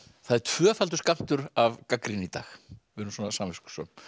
það er tvöfaldur skammtur af gagnrýni í dag við erum svona samviskusöm